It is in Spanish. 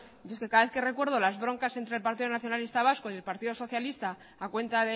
es que yo cada vez que recuerdo las broncas entre partido nacionalista vasco y partido socialista a cuenta